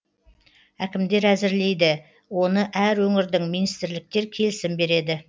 әкімдер әзірлейді оны әр өңірдің министрліктер келісім береді